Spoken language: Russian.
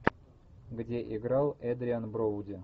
где играл эдриан броуди